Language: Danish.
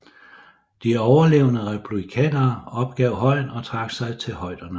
De overlevende republikanere opgav højen og trak sig til højderne